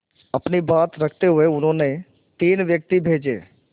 अपनी बात रखते हुए उन्होंने तीन व्यक्ति भेजे